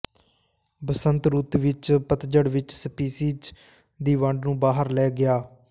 ਬਸੰਤ ਰੁੱਤ ਵਿੱਚ ਜ ਪਤਝੜ ਵਿੱਚ ਸਪੀਸੀਜ਼ ਦੀ ਵੰਡ ਨੂੰ ਬਾਹਰ ਲੈ ਗਿਆ